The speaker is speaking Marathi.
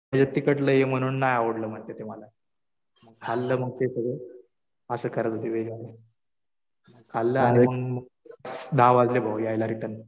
ह्याच्यात तिखट लय आहे म्हणून नाही आवडलं म्हणले ते मला. खाल्लं मग ते सगळं. असं करतात ते व्हेज वाले. खाल्लं आणि मग दहा वाजले भाऊ यायला रिटर्न.